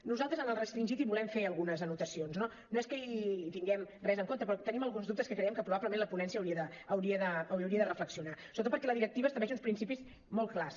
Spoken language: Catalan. nosaltres en el restringit hi volem fer algunes anotacions no no és que hi tinguem res en contra però tenim alguns dubtes que creiem que probablement la ponència hi hauria de reflexionar sobretot perquè la directiva estableix uns principis molt clars